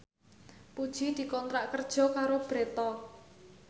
Puji dikontrak kerja karo Bread Talk